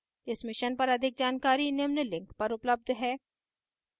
इस mission पर अधिक जानकारी निम्न लिंक पर उपलब्ध है